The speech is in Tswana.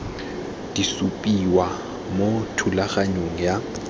di supiwa mo thulaganyong ya